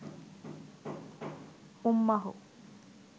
উম্মাহ